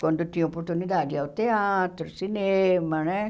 Quando tinha oportunidade ia ao teatro, cinema, né?